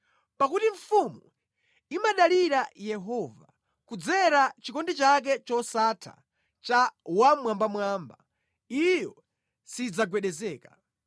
Pakuti mfumu imadalira Yehova; kudzera mʼchikondi chake chosatha cha Wammwambamwamba, iyo sidzagwedezeka.